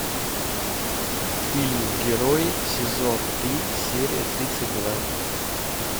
фильм герои сезон три серия тридцать два